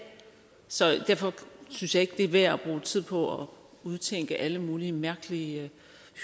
så derfor synes jeg ikke det er værd at bruge tid på at udtænke alle mulige mærkelige